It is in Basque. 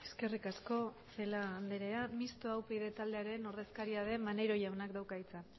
eskerrik asko celaá anderea mistoa upyd taldearen ordezkaria den maneiro jaunak dauka hitza